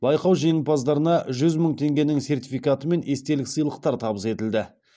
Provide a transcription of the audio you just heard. байқау жеңімпаздарына жүз мың теңгенің сертификаты мен естелік сыйлықтар табыс етілді